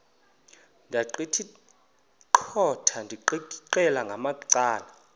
ndaqetheqotha ndiqikaqikeka ngamacala